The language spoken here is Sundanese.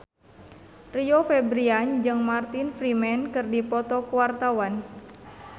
Rio Febrian jeung Martin Freeman keur dipoto ku wartawan